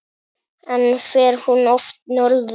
En fer hún oft norður?